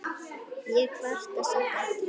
Ég kvarta samt ekki.